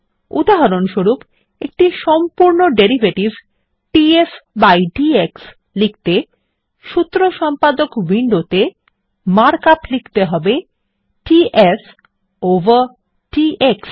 উদাহরণস্বরূপ একটি সম্পূর্ণ ডেরিভেটিভ ডিএফ বাই ডিএক্স লিখতে সূত্র সম্পাদক উইন্ডোতে মার্ক আপ লিখতে হবে ডিএফ ওভার ডিএক্স